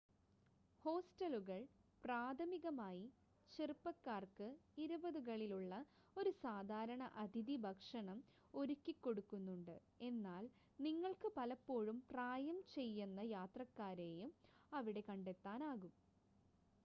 ഹോസ്റ്റലുകൾ പ്രാഥമികമായി ചെറുപ്പക്കാർക്ക് ഇരുപതുകളിൽ ഉള്ള ഒരു സാധാരണ അതിഥി ഭക്ഷണം ഒരുക്കിക്കൊടുക്കുന്നുണ്ട് എന്നാൽ നിങ്ങൾക്ക് പലപ്പോഴും പ്രായംചെയ്യന്ന യാത്രക്കാരെയും അവിടെ കണ്ടെത്താനാകും